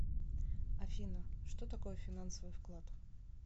афина что такое финансовый вклад